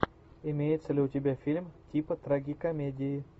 имеется ли у тебя фильм типа трагикомедии